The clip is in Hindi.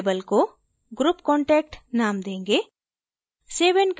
हम label को group contact name देंगे